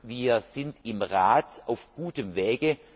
Wir sind im Rat auf gutem Weg.